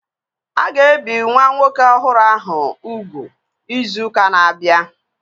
A ga-ebi nwa nwoke ọhụrụ ahụ ugwu izu ụka na-abịa